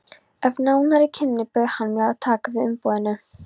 Eftir nánari kynni bauð hann mér að taka við umboðinu.